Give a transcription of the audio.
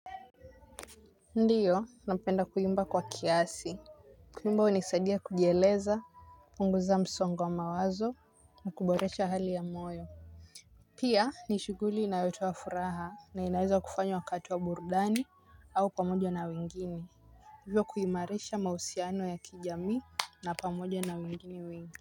Ndiyo nampenda kuimba kwa kiasi. Kuimba hunisadia kujieleza kupunguza msongo wa mawazo na kuboresha hali ya moyo. Pia ni shughuli inayotoa furaha na inaweza kufanywa wakati wa burdani au pamoja na wengine. Hivyo kuimarisha mausiano ya kijamii na pamoja na wengine wengi.